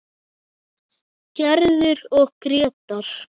Gerður og Grétar.